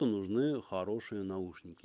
то нужны хорошие наушники